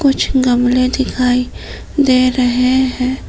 कुछ गमले दिखाई दे रहे हैं।